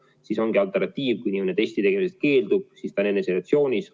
Siis ongi alternatiiv: kui inimene testi tegemisest keeldub, siis ta on eneseisolatsioonis.